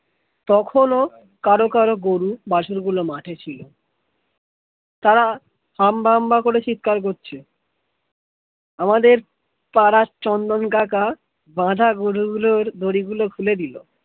তখনও কারো কারো গরু বাছুরগুলো মাঠে ছিল তারা হাম্বা হাম্বা করে চিৎকার করছে, আমাদের পাড়ার চন্দন কাকা বাঁধা গরু গুলোর দড়ি গুলো খুলে দিল